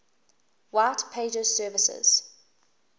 white pages services